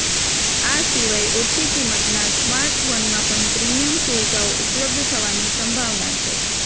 આ સિવાય ઓછી કિંમતના સ્માર્ટફોનમાં પણ પ્રીમિયમ સુવિધાઓ ઉપલબ્ધ થવાની સંભાવના છે